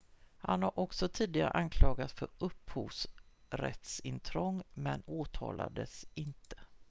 han har också tidigare anklagats för upphovsrättsintrång men åtalades inte